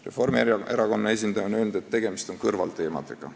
Reformierakonna esindaja on öelnud, et tegemist on kõrvalteemadega.